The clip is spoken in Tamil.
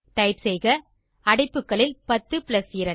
டைப் செய்க அடைப்புகளில் 10 பிளஸ் 2